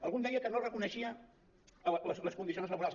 algú em deia que no reconeixia les condicions laborals